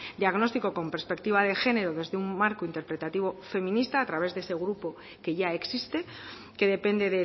diagnóstico con perspectiva de género desde un marco interpretativo feminista a través de ese grupo que ya existe que depende